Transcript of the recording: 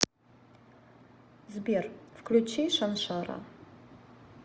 сбер включи шаншара